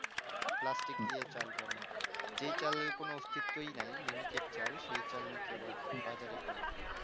plastic দিয়ে চাল বানাচ্ছে যেই চালের কোনো অস্তিত্বই নাই miniket চাল সেই চাল নাকি আবার বাজার এ পাওয়া যায়